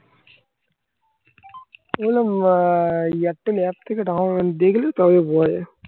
হম airtel app থেকে down দিয়ে গেলে তবে বোঝা যায়